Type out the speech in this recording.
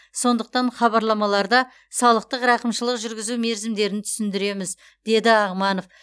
сондықтан хабарламаларда салықтық рақымшылық жүргізу мерзімдерін түсіндіреміз деді ағманов